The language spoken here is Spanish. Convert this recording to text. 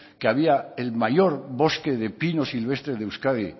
que había el mayor bosque de pino silvestre de euskadi